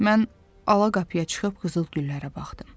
Mən ala qapıya çıxıb qızıl güllərə baxdım.